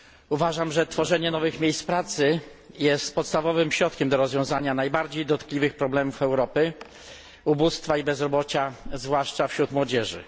Uważam, że tworzenie nowych miejsc pracy jest podstawowym sposobem rozwiązania najbardziej dotkliwych problemów Europy, ubóstwa i bezrobocia, zwłaszcza wśród młodzieży.